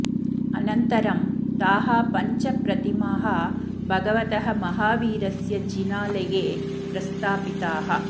अनन्तरं ताः पञ्च प्रतिमाः भगवतः महावीरस्य जिनालये प्रस्थापिताः